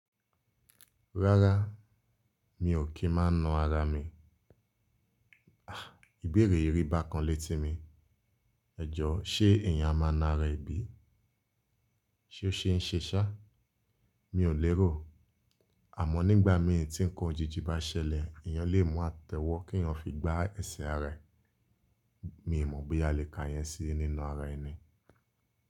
Rárá, mi ò kí máa na ara mi. Ìbéèrè yì ríba kan létí mi. Ejo, ṣe èèyàn máa na ara èbí? Ṣe ó ṣe ń ṣe ṣá? Mi ò lérò. Àmó nígbà mi tí ń kan ojiji bá ṣẹlẹ̀, èèyàn lè mọ́ àtẹ́ wọ́ kí yan fi gbá ẹsẹ̀ ara é. Mi mọ̀ bóyá a lè ka yẹn sí nína ara ẹni.